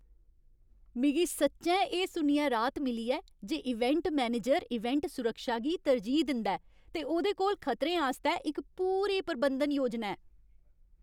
मिगी सच्चैं एह् सुनियै राहत मिली ऐ जे इवेंट मैनेजर इवेंट सुरक्षा गी तरजीह् दिंदा ऐ ते ओह्दे कोल खतरें आस्तै इक पूरी प्रबंधन योजना ऐ।